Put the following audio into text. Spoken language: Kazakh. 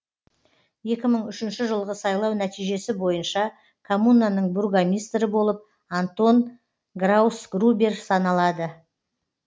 екі мың үшінші жылғы сайлау нәтижесі бойынша коммунаның бургомистрі болып антон граусгрубер саналады